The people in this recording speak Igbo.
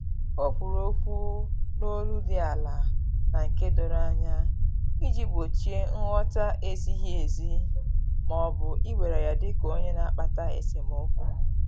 Ọ kwuru okwu n’olu dị ala na nke doro anya iji gbochie nghọta-ezighi ezi ma ọ bụ iwere ya dika onye na-akpata esemokwu